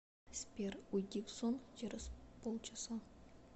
сбер уйди в сон через полчаса